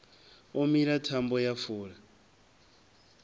o mila thambo ya fula